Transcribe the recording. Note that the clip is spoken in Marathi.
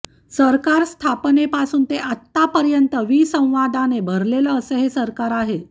सरकार स्थापनेपासून ते आतापर्यंत विसंवादाने भरलेलं असं हे सरकार आहे